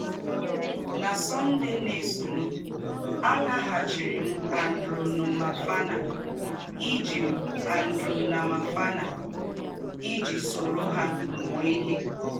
Na Sunday na - èsọ̀nụ̀, àlàghàchìrì m Andranomafana ìjì m Andranomafana ìjì sòrò hà mūọ̀ ìhè.